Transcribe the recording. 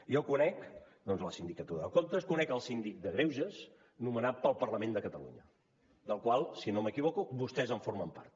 jo conec la sindicatura de comptes conec el síndic de greuges nomenat pel parlament de catalunya del qual si no m’equivoco vostès en formen part